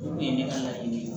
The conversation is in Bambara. Olu ye ne ka laɲini ye